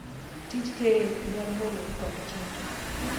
Tij keyo dwaro horuok kod kinda.